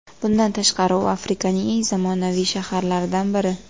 Bundan tashqari u Afrikaning eng zamonaviy shaharlaridan biri.